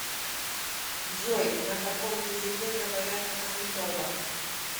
джой на каком языке говорят в манитоба